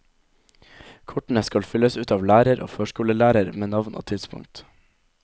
Kortene skal fylles ut av lærer og førskolelærer med navn og tidspunkt.